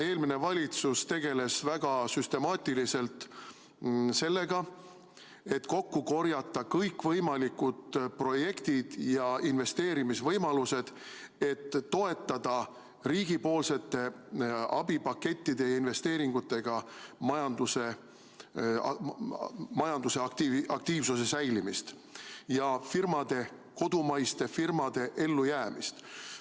Eelmine valitsus tegeles väga süstemaatiliselt sellega, et kokku korjata kõikvõimalikud projektid ja investeerimisvõimalused, et toetada riigipoolsete abipakettide ja investeeringutega majanduse aktiivsuse säilimist ja kodumaiste firmade ellujäämist.